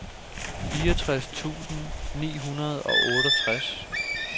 fireogtres tusind ni hundrede og otteogtres